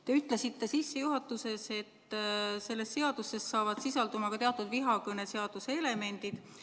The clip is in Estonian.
Te ütlesite sissejuhatuses, et selles seaduses sisalduvad ka teatud vihakõneseaduse elemendid.